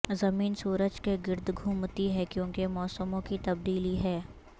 زمین سورج کے گرد گھومتی ہے کیونکہ موسموں کی تبدیلی ہے